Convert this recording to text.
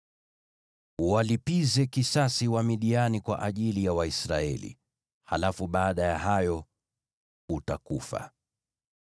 “Uwalipize kisasi Wamidiani kwa ajili ya Waisraeli. Halafu baada ya hayo, utakufa.”